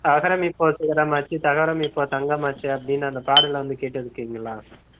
அகரம் இப்போ சிகரம் ஆச்சு தகரம் இப்போ தங்கம் ஆச்சு அப்படின்னு அந்த பாடல் வந்து கேட்டிருக்கிங்களா?